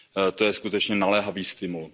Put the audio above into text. rámec. To je skutečně naléhavý